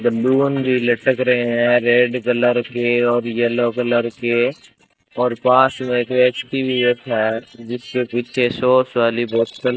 balloon भी लटक रहे हैं रेड कलर के और येलो कलर के और पास में जो एक टी_वी_एस है जिसके पीछे सॉस वाली बोतल --